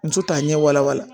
Muso t'a ɲɛ wala wala